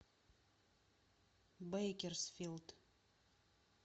бейкерсфилд